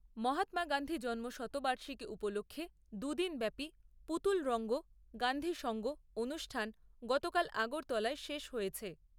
মহাত্মা গান্ধীর জন্ম শতবার্ষিকী উপলক্ষে দু দিন ব্যাপী পুতুল রঙ্গ গান্ধী সঙ্গ অনুষ্ঠান গতকাল আগরতলায় শেষ হয়েছে।